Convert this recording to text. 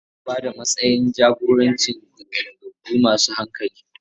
Ana ba da matsayin jagoranci ga balagagge masu hankali.